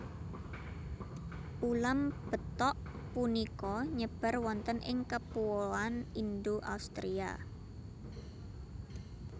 Ulam betok punika nyebar wonten ing kepuoan Indo Australia